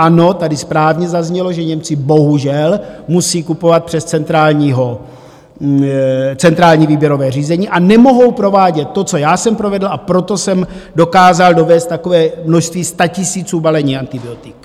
Ano, tady správně zaznělo, že Němci bohužel musí kupovat přes centrální výběrové řízení, a nemohou provádět to, co já jsem provedl, a proto jsem dokázal dovézt takové množství statisíců balení antibiotik.